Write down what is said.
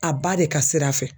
A ba de ka sira fɛ